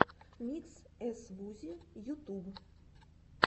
микс эс вузи ютуб